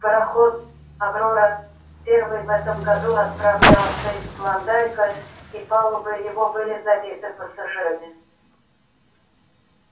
пароход аврора первый в этом году отправлялся из клондайка и палубы его были забиты пассажирами